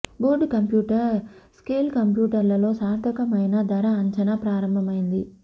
board computer scale కంప్యూటర్లలో సార్థకమైన ధర అంచనా ప్రారంభమైంది